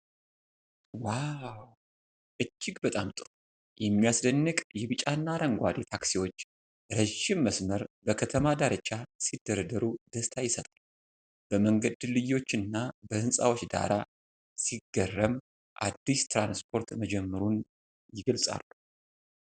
ዋው! እጅግ በጣም ጥሩ! የሚያስደንቅ የቢጫና አረንጓዴ ታክሲዎች ረጅም መስመር በከተማ ዳርቻ ሲደረደሩ ደስታ ይሰጣል። በመንገድ ድልድዮችና በህንፃዎች ዳራ ሲገርም አዲስ ትራንስፖርት መጀመሩን የገልጻሉ።